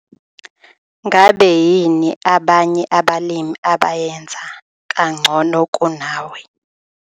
Ngabe yini abanye abalimi abayenza kangcono kunawe?